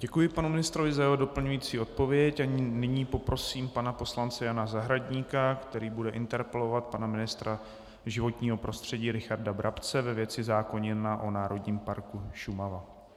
Děkuji panu ministrovi za jeho doplňující odpověď a nyní poprosím pana poslance Jana Zahradníka, který bude interpelovat pana ministra životního prostředí Richarda Brabce ve věci zákona o Národním parku Šumava.